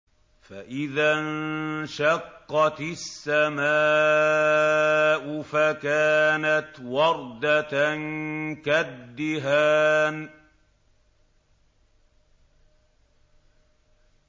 فَإِذَا انشَقَّتِ السَّمَاءُ فَكَانَتْ وَرْدَةً كَالدِّهَانِ